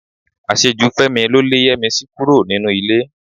Àṣejù Fẹ́mi ló lé Yẹ́misí kúrò nínú ilé